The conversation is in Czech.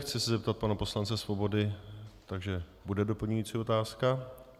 Chci se zeptat pana poslance Svobody - takže bude doplňující otázka.